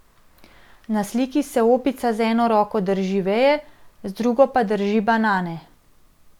Na sliki se opica z eno roko drži veje, z drugo pa drži banane.